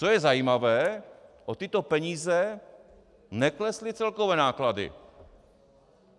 Co je zajímavé, o tyto peníze neklesly celkové náklady.